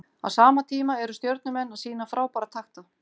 Á sama tíma eru Stjörnumenn að sýna frábæra takta.